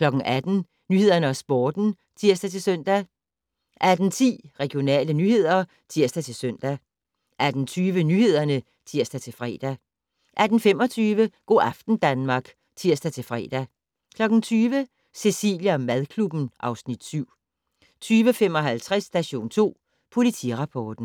18:00: Nyhederne og Sporten (tir-søn) 18:10: Regionale nyheder (tir-søn) 18:20: Nyhederne (tir-fre) 18:25: Go' aften Danmark (tir-fre) 20:00: Cecilie & madklubben (Afs. 7) 20:55: Station 2 Politirapporten